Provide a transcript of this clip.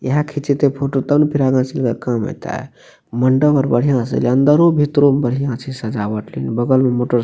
ईहे खींचे ते फोटो तब ने आगा चल के काम एते मंडप आर बढ़िया से एले अंदरो भीतरो में बढ़िया छै सजावट लेकिन बगल मे मोटरसाइकिल --